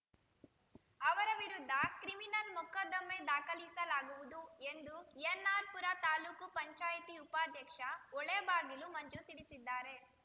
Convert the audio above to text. ಅವರ ವಿರುದ್ಧ ಕ್ರಿಮಿನಲ್‌ ಮೊಕದ್ದಮ್ಮೆ ದಾಖಲಿಸಲಾಗುವುದು ಎಂದು ಎನ್‌ಆರ್‌ ಪುರ ತಾಲೂಕು ಪಂಚಾಯಿತಿ ಉಪಾಧ್ಯಕ್ಷ ಹೊಳೆಬಾಗಿಲು ಮಂಜು ತಿಳಿಸಿದ್ದಾರೆ